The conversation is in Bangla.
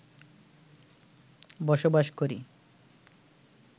বসবাস করি